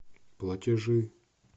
платежи